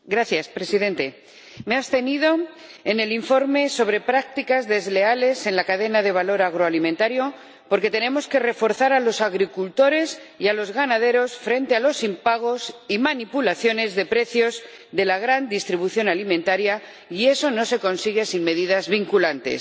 Señor Presidente, me he abstenido en la votación del informe sobre las prácticas comerciales desleales en la cadena de suministro alimentario porque tenemos que reforzar a los agricultores y a los ganaderos frente a los impagos y manipulaciones de precios de la gran distribución alimentaria, y eso no se consigue sin medidas vinculantes.